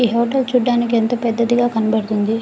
ఈ హోటల్ చూడటానికి ఎంత పెద్దదిగా కనపడుతుంది.